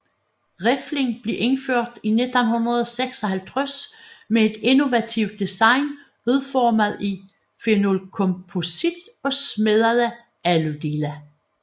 Riflen blev indført i 1956 med et innovativt design udformet i phenolkomposit og smedede aludele